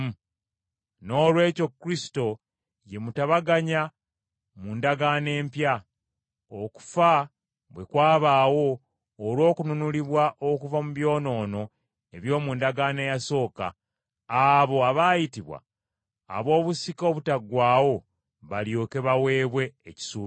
Noolwekyo Kristo ye mutabaganya mu ndagaano empya, okufa bwe kwabaawo olw’okununulibwa okuva mu byonoono eby’omu ndagaano eyasooka, abo abaayitibwa ab’obusika obutaggwaawo balyoke baweebwe ekisuubizo.